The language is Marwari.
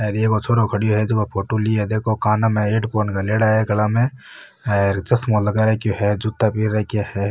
अर एक छोरो खड़ो है झको फोटो ली है देखो काना मे हैडफोन घालेडा है गल म और चश्मा लगा रखे है जूता पैर राखा है।